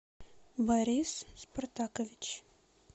борис спартакович